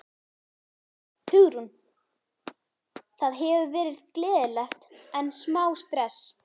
Hugrún: Það hefur verið gleðilegt en smá stress?